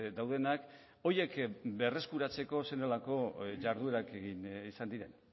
daudenak horiek berreskuratzeko zer nolako jarduerak egin izan diren